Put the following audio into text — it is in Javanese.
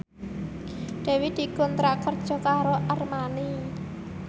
Dewi dikontrak kerja karo Armani